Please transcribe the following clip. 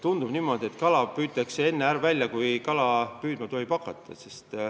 Tundub niimoodi, et kala püütakse enne välja, kui teda püüdma tohib hakata.